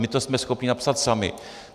My to jsme schopni napsat sami.